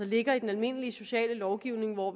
ligger i den almindelige sociallovgivning hvor